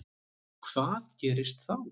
Hvað gerist þá?